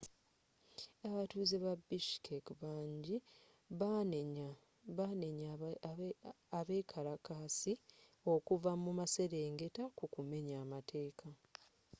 abatuuze ba bishkek bangi baanenya abekalakaasi okuva mu maserengeta ku kumenya amateeka